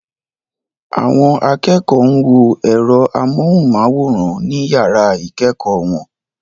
Àwọn akẹ́kọ̀ọ́ ń wo ẹ̀rọ amóhùnmáwòrán ní yàrá ìkẹ́kọ̀ọ́ wọn.